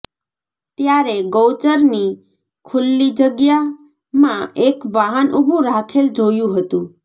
ત્યારે ગૌચરની ખુલ્લી જગ્યામાં એક વાહન ઊભું રાખેલ જોયું હતું